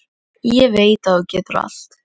Ég veit að þú getur allt.